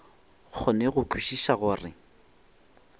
kgone go kwešiša go re